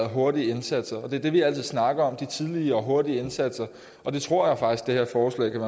hurtige indsatser det er det vi altid snakker om nemlig de tidlige og hurtige indsatser og det tror jeg faktisk det her forslag kan